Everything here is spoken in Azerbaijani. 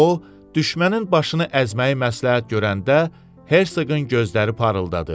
O, düşmənin başını əzməyi məsləhət görəndə, Hersoqun gözləri parıldadı.